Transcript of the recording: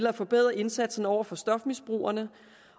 at forbedre indsatsen over for stofmisbrugerne